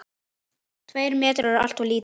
Tveir metrar eru alltof lítið.